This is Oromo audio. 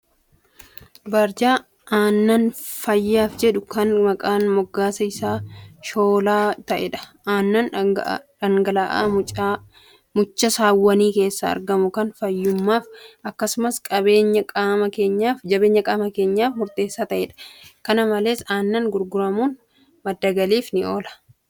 Barjaa aannan fayyaaf jedhu kan maqaan moggaasa isaa Shoolaa ta'edha. Aannan dhangala'aa mucha saawwanii keessaa argamu kan fayyummaaf akkasumas jabeenya qaama keenyaaf daran murteessaa ta'edha. Kana malees aannan gurguramuun madda galii guddaa kan argamsiisudha.